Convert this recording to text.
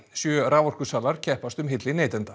sjö raforkusalar keppast um hylli neytenda